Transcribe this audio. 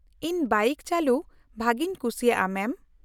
- ᱤᱧ ᱵᱟᱭᱤᱠ ᱪᱟᱹᱞᱩ ᱵᱷᱟᱹᱜᱤᱧ ᱠᱩᱥᱤᱭᱟᱜᱼᱟ, ᱢᱮᱢ ᱾